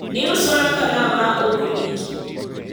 iusona kalam ma ok ndiki